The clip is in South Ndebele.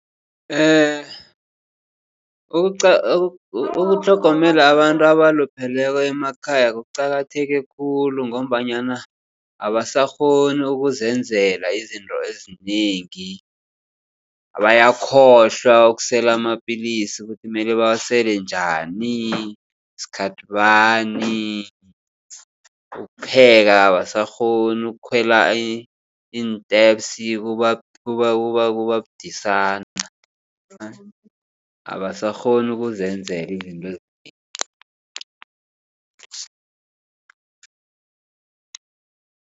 Ukutlhogomela abantu abalupheleko emakhaya kuqakatheke khulu ngombanyana abasakghoni ukuzenzela izinto ezinengi. Bayakhohlwa ukusela amapillisi ukuthi mele bawasele njani sikhathi bani. Ukupheka abasakghoni ukukhwela iin-steps kuba budisana abasakghoni ukuzenzela izinto ezinengi.